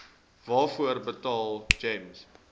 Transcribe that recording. waarvoor betaal gems